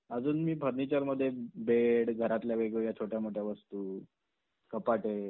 अजून मी फर्नीचरमध्ये बेड घरातल्या वेगवेगळ्या छोट्या मोठ्या वस्तू कपाटे